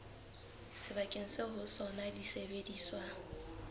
sebakeng seo ho sona disebediswa